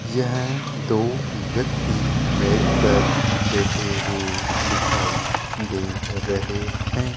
यह दो व्यक्ति मेज पर बैठे हुए दिखाई दे रहे हैं।